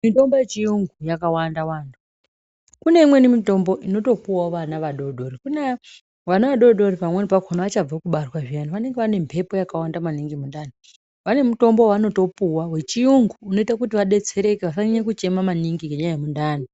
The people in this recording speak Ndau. Mitombo yechiyungu yakawanda wanda. Kune imweni mitombo inotopuwawo vana vadori dori. Kuna vana vadori dori pamweni pakona vachabva kubarwa zviyana, vanenge vane mbepo yakawanda maningi mundani. Vane mutombo wavanotopuwa wechiyungu unoite kuti vadetsereke vasanyanya kuchema maningi ngenyaya yemundani.